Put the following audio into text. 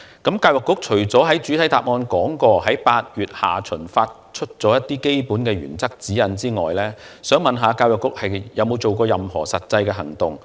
除了局長在主體答覆中提到，曾在8月下旬發出一些基本原則及指引外，教育局有否採取任何實際行動？